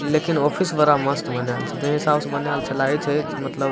लेकिन ऑफिस बड़ा मस्त बनाएल छै जउन हिसाब से बनाएल छै लागे छै मतलब --